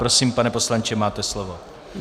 Prosím, pane poslanče, máte slovo.